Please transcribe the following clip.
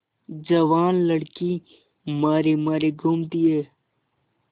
जवान लड़की मारी मारी घूमती है